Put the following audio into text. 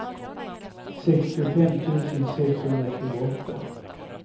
sextiofem tusen sexhundratjugoåtta